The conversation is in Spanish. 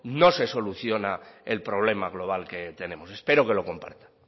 no se soluciona el problema global que tenemos espero que lo comparta